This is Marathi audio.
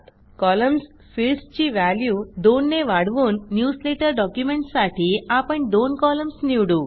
कॉलम्स फिल्डसची व्हॅल्यू दोन ने वाढवून न्यूजलेटर डॉक्युमेंटसाठी आपण दोन कॉलम्स निवडू